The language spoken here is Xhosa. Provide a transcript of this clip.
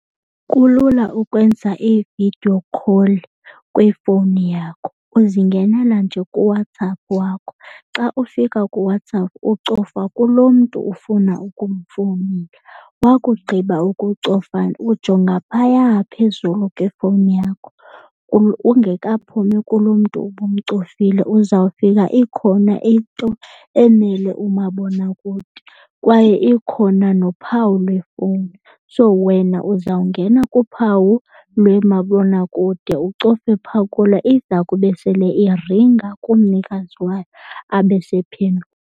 Kulula ukwenza i-video call kwifowuni yakho. Uzingenela nje kuWhatsApp wakho. Xa ufika kuWhatsApp ucofa kuloo mntu ufuna ukumfowunela. Wakugqiba ukucofa, ujonga phaya phezulu kwefowuni yakho ungekaphumi kulo mntu ubumcofile uzawufika ikhona into emele umabonakude. Kwaye ikhona nophawu lefowuni. So, wena uzawungena kuphawu lwemabonakude ucofe phaa kulo. Iza kube sele iringa kumnikazi wayo abe sephendula.